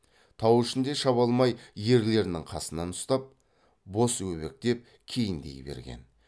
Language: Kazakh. тау ішінде шаба алмай ерлерінің қасынан ұстап бос өбектеп кейіндей берген